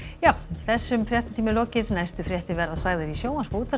þessum fréttatíma er lokið næstu fréttir verða sagðar í sjónvarpi og útvarpi